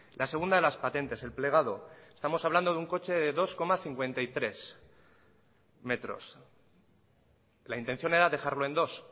la segunda de las patentes el plegado estamos hablando de un coche de dos coma cincuenta y tres metros la intención era dejarlo en dos